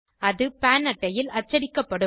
அது பான் அட்டையில் அச்சடிக்கப்படும்